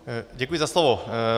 Děkuji za slovo.